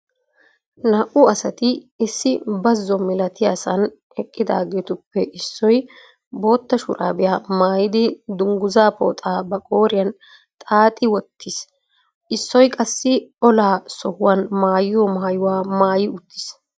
Naa"u asari issi bazo malatiyaasan eqqidaageetuppe issou bootta shurabiya maayyidi dungguzza pooxa ba qooriyaan xaaxxi wottiis issoy qassi olaa sohuwan maayyiyo maayyuwa maayyi uttiis.